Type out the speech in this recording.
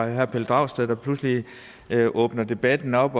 herre pelle dragsted der pludselig åbner debatten op